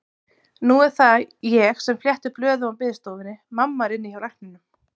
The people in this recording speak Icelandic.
Nú er það ég sem fletti blöðum á biðstofunni, mamma er inni hjá lækninum.